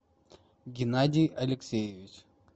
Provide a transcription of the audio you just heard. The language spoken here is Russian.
геннадий алексеевич